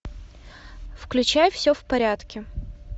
включай все в порядке